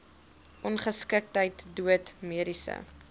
ongeskiktheid dood mediese